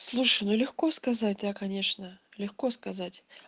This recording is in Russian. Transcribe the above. слушай ну легко сказать да конечно легко сказать